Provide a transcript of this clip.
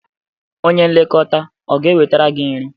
Onye nlekọta ọ ga-ewetara gị nri?